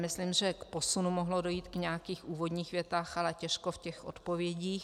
Myslím, že k posunu mohlo dojít v nějakých úvodních větách, ale těžko v těch odpovědích.